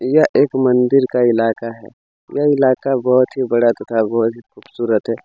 यह एक मंदिर का ईलाका है ये ईलाका बहोत ही बड़ा तथा बहोत ही खुबसूरत है।